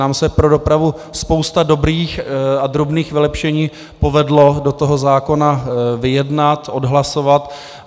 Nám se pro dopravu spousta dobrých a drobných vylepšení povedla do toho zákona vyjednat, odhlasovat.